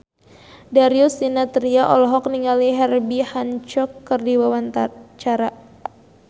Darius Sinathrya olohok ningali Herbie Hancock keur diwawancara